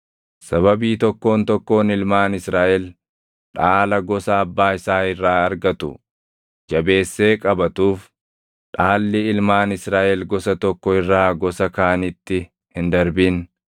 Sababii tokkoon tokkoon ilmaan Israaʼel dhaala gosa abbaa isaa irraa argatu jabeessee qabatuuf, dhaalli ilmaan Israaʼel gosa tokko irraa gosa kaanitti hin darbin.